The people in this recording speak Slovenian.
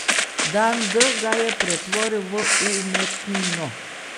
Dan D ga je pretvoril v umetnino.